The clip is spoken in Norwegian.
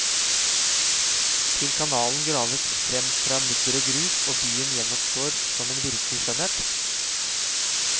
Til kanalen graves frem fra mudder og grus, og byen gjenoppstår som en virkelig skjønnhet.